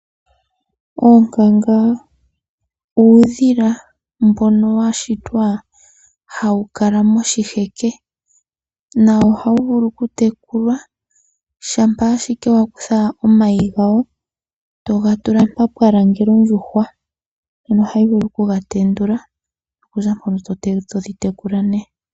Oonkanga uudhila mboka wa shitwa, hawu kala moshiheke na ohawu vulu oku tekulwa, shampa ashike wa kutha omayi gawo, toga tula mpoka pwa langela ondjuhwa, ano ohayi vulu oku ga tendula nokuza mpoka todhi tekula ne.